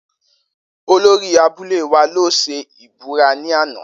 Olori abule wa lo se ibura ni ana.